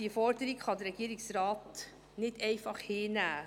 : Diese Forderung kann der Regierungsrat nicht einfach hinnehmen.